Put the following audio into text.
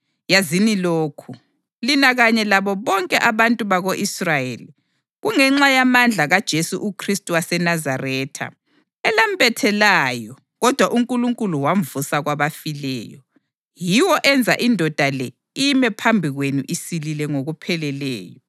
yazini lokhu, lina kanye labo bonke abantu bako-Israyeli; kungenxa yamandla kaJesu Khristu waseNazaretha elambethelayo kodwa uNkulunkulu wamvusa kwabafileyo, yiwo enza indoda le ime phambi kwenu isilile ngokupheleleyo.